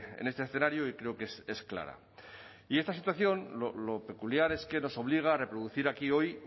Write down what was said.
en este escenario y creo que es clara y esta situación lo peculiar es que nos obliga a reproducir aquí hoy